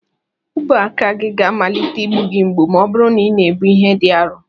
Ubuaka ga-amalite ịgbu gị mgbu ma ọ bụrụ na ị na-ebu ihe dị arọ